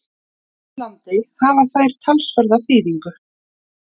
Finnlandi hafa þær talsverða þýðingu.